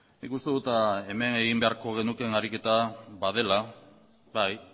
nik uste dut hemen egin beharko genukeen ariketa badela bai